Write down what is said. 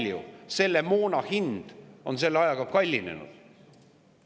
Ja kui palju selle moona hind on selle ajaga kallinenud?